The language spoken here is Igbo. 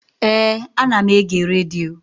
Éè, ana m ege redio